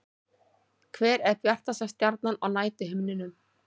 Hver er bjartasta stjarnan á næturhimninum?